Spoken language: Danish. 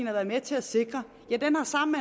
har været med til at sikre ja den har sammen